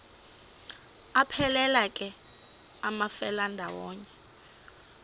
aphelela ke amafelandawonye